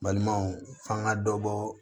Balimaw f'an ka dɔ bɔ